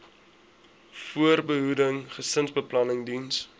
voorbehoeding gesinsbeplanning diens